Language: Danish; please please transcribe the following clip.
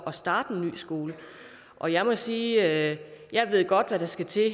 at starte en ny skole og jeg må sige at jeg ved godt hvad der skal til i